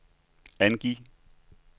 angiv